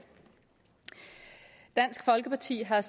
dansk folkeparti har